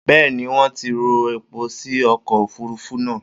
Bẹ́ẹ̀ni, wọ́n ti ń rọ epo sí ọkọ̀ òfurufú náà